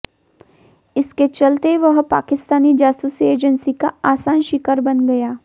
इसके चलते वह पाकिस्तानी जासूसी एजेंसी का आसान शिकार बन गया